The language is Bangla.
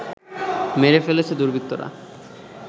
মেরে ফেলেছে দুর্বৃত্তরা